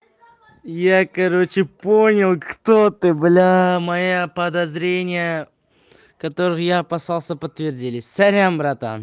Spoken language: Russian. я короче понял кто ты б моя подозрение который опасался подтвердились сорян